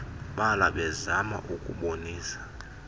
bala bezama ukubonisa